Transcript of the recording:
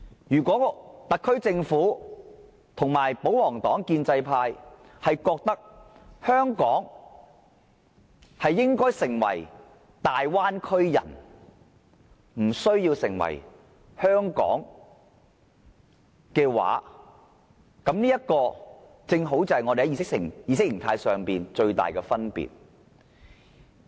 如果特區政府與保皇黨、建制派認為香港應該完全融入"大灣區"，無須繼續保存其獨一無二的特色，這正好就是我們之間意識形態的最大分別。